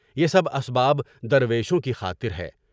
یہ سب اسباب درویشوں کی خاطر ہے۔